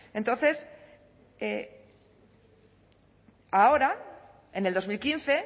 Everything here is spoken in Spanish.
entonces ahora en el dos mil quince